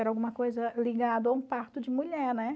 Era alguma coisa ligada a um parto de mulher, né?